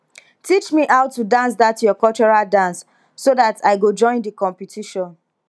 teach me how to dance that your cultural dance so that i go join the competition